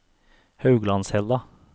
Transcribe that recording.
Hauglandshella